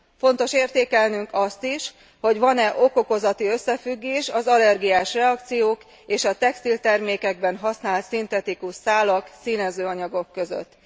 Fontos értékelnünk azt is, hogy van e ok okozati összefüggés az allergiás reakciók és a textiltermékekben használt szintetikus szálak, színezőanyagok között.